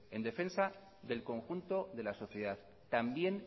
en defensa del conjunto de la sociedad también